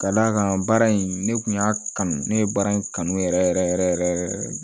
Ka d'a kan baara in ne kun y'a kanu ne ye baara in kanu yɛrɛ yɛrɛ yɛrɛ yɛrɛ